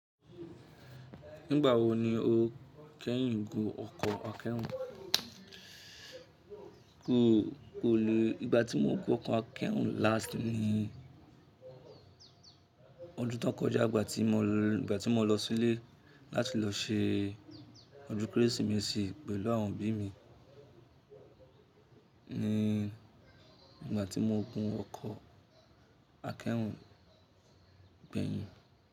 Nígbà wo ni o kẹ́yìn gun ọkọ̀ akẹ́rù? Kò, kò lè, ìgbà tí mo gun ọkọ̀ akẹ́rù last ni ọdún tó kọjá ìgbà tí mo lọ, ìgbà tí mo lọ sílé láti lọ ṣe ọdún Kérésìmesì pẹ̀lú àwọn òbí mi ni ìgbà tí mo gun ọkọ̀ akẹ́rù gbẹ̀yìn.